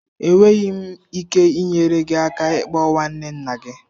Enweghị m ike inyere gị aka ịkpọ nwanne nna gị.